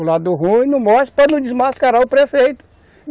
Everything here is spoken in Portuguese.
O lado ruim não mostra para não desmascarar o prefeito.